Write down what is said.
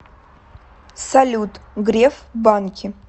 салют греф банки